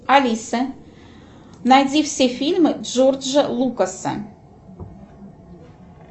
алиса найди все фильмы джорджа лукаса